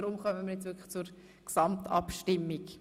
Jetzt kommen wir zur Gesamtabstimmung.